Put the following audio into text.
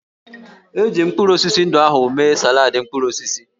Eji m mkpụrụ osisi ndị ahụ mee saladị mkpụrụ osisi